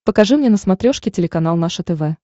покажи мне на смотрешке телеканал наше тв